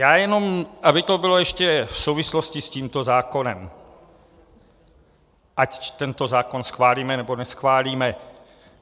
Já jenom, aby to bylo ještě v souvislosti s tímto zákonem, ať tento zákon schválíme, nebo neschválíme.